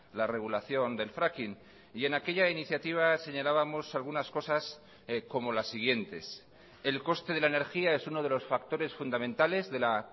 la regulación del fracking y en aquella iniciativa señalábamos algunas cosas como las siguientes el coste de la energía es uno de los factores fundamentales de la